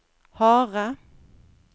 harde